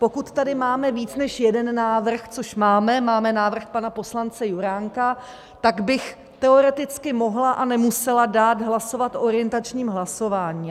Pokud tady máme víc než jeden návrh - což máme, máme návrh pana poslance Juránka - tak bych teoreticky mohla a nemusela dát hlasovat orientačním hlasováním.